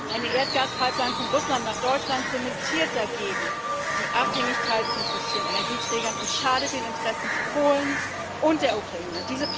Eine Erdgaspipeline von Russland nach Deutschland zementiert dagegen die Abhängigkeit von fossilen Energieträgern und schadet den Interessen Polens und der Ukraine.